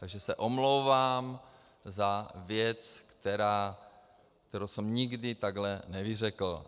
Takže se omlouvám za věc, kterou jsem nikdy takhle nevyřkl.